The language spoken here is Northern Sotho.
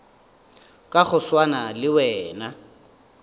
ka go swana le wena